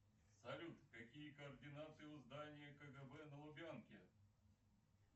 салют какие координаты у здания кгб на лубянке